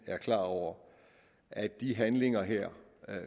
er klar over at de handlinger her